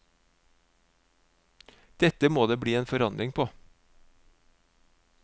Dette må det bli en forandring på.